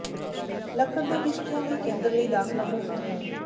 ਲੱਕੜ ਦੇ ਕਿਸ਼ਤੀਆਂ ਲਈ ਕੇਂਦਰ ਲਈ ਦਾਖਲਾ ਮੁਫ਼ਤ ਹੈ